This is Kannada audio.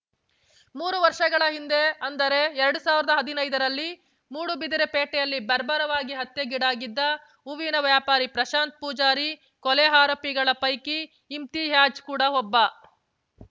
ಮೂರು ವರ್ಷಗಳ ಹಿಂದೆ ಅಂದರೆ ಎರಡು ಸಾವಿರದ ಹದಿನೈದರಲ್ಲಿ ಮೂಡುಬಿದಿರೆ ಪೇಟೆಯಲ್ಲಿ ಬರ್ಬರವಾಗಿ ಹತ್ಯೆಗೀಡಾಗಿದ್ದ ಹೂವಿನ ವ್ಯಾಪಾರಿ ಪ್ರಶಾಂತ್‌ ಪೂಜಾರಿ ಕೊಲೆ ಆರೋಪಿಗಳ ಪೈಕಿ ಇಮ್ತಿಯಾಜ್‌ ಕೂಡ ಒಬ್ಬ